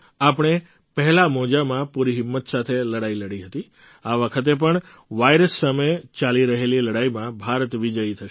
આપણે પહેલા મોજામાં પૂરી હિંમત સાથે લડાઈ લડી હતી આ વખતે પણ વાઇરસ સામે ચાલી રહેલી લડાઈમાં ભારત વિજયી થશે